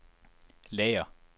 lager